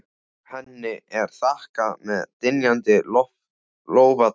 Henni er þakkað með dynjandi lófataki.